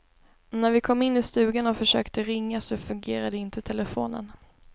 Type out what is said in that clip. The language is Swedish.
När vi kom in i stugan och försökte ringa så fungerade inte telefonen.